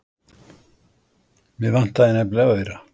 Mig vantaði nefnilega aura.